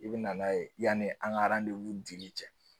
I bɛ na n'a ye yani an ka dili kɛ